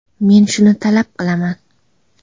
Men shuni talab qilaman.